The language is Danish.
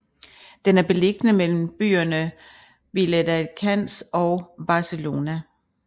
Den er beliggende mellem byerne Viladecans og Barcelona